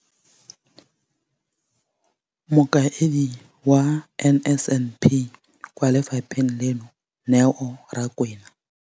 Mokaedi wa NSNP kwa lefapheng leno, Neo Rakwena.